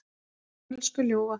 Elsku ljúfa.